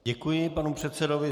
Děkuji panu předsedovi.